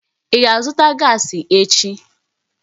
Ị ga-azụta gaasi echi?